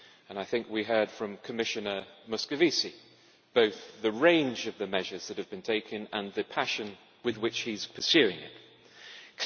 I think we heard from Commissioner Moscovici on both the range of the measures that have been taken and the passion with which he is pursuing this.